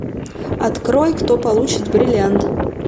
открой кто получит бриллиант